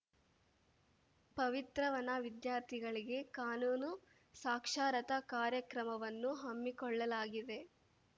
ಪವಿತ್ರವನ ವಿದ್ಯಾರ್ಥಿಗಳಿಗೆ ಕಾನೂನು ಸಾಕ್ಷರತಾ ಕಾರ್ಯಕ್ರಮವನ್ನು ಹಮ್ಮಿಕೊಳ್ಳಲಾಗಿದೆ